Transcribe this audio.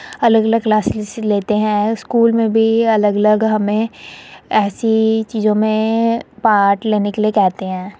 अलग-अलग क्लासेस लेते हैं। स्कूल में भी अलग-अलग हमें ऐसी चीजों में पार्ट लेने के लिए कहते हैं।